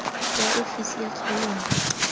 ya ofisi ya kgaolo nngwe